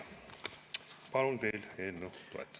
Palun teil eelnõu toetada.